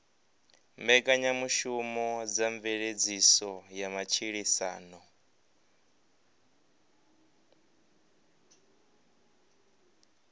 mbekanyamushumo dza mveledziso ya matshilisano